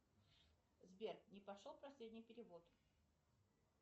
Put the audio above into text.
сбер не прошел последний перевод